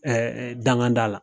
danŋa da la.